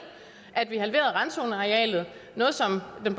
at vi halverede randzonearealet noget som den